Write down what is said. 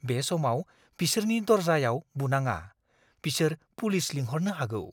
बे समाव बिसोरनि दर्जाआव बुनाङा। बिसोर पुलिस लिंहरनो हागौ!